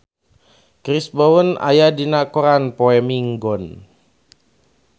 Chris Brown aya dina koran poe Minggon